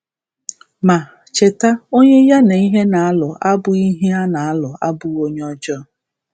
Ma, cheta, onye ya na ihe na-alụ abụghị ihe na-alụ abụghị onye ọjọọ.